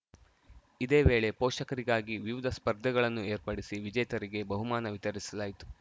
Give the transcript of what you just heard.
ಇದೇ ವೇಳೆ ಪೋಷಕರಿಗಾಗಿ ವಿವಿಧ ಸ್ಪರ್ಧೆಗಳನ್ನು ಏರ್ಪಡಿಸಿ ವಿಜೇತರಿಗೆ ಬಹುಮಾನ ವಿತರಿಸಲಾಯಿತು